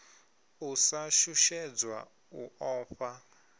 u sa shushedzwa u ofha